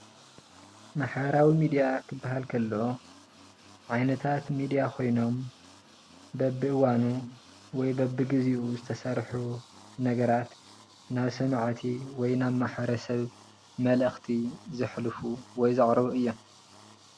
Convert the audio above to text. ማሕበራዊ ሚድያ ክበሃል ከሎ ዓይነታት ሚድያ ኮይኖም በቢእዋኑ ወይ በቢግዜኡ ዝተሰርሑ ነገራት ናብ ሰማዕቲ ወይ ናብ ማሕበረሰብ መልእኽቲ ዘሕልፉ ወይ ዘቅርቡ እዮም ።